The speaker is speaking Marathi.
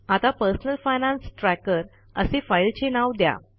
आता पर्सनल फायनान्स ट्रॅकर असे फाईलचे नाव द्या